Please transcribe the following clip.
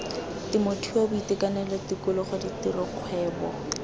temothuo boitekanelo tikologo ditiro kgwebo